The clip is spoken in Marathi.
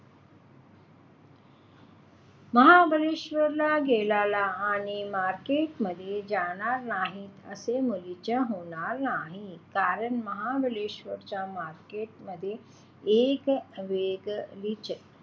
महाबळेश्वरला गेलात आणि बाजारा मध्ये जाणार नाहीत असे मुळीच होणार नाही, कारण महानळेश्वरच्या बाजार मध्ये एक वेगळीच,